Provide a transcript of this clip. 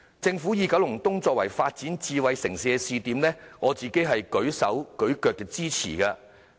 政府以九龍東作為發展智慧城市的試點，我自己舉手支持。